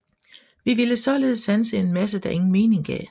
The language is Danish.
Vi ville således sanse en masse der ingen mening gav